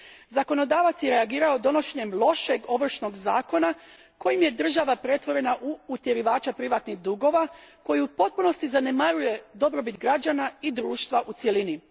Zakonodavac je reagirao donošenjem lošeg ovršnog zakona kojim je država pretvorena u utjerivača privatnih dugova koji u potpunosti zanemaruje dobrobit građana i društva u cjelini.